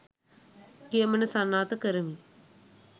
කියමන සනාථ කරමි